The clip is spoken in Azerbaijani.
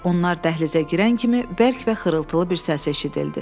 Onlar dəhlizə girən kimi bərk və xırıltılı bir səs eşidildi.